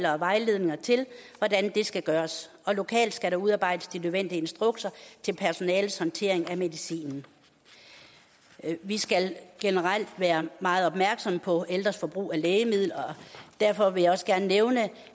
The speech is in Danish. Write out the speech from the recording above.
og vejledninger til hvordan det skal gøres og lokalt skal der udarbejdes de nødvendige instrukser til personalets håndtering af medicinen vi skal generelt være meget opmærksomme på ældres forbrug af lægemidler og derfor vil jeg også gerne nævne